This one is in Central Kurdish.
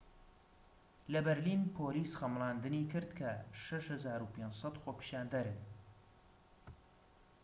لە بەرلین پۆلیس خەمڵاندنی کرد کە ٦٥٠٠ خۆپیشاندەرن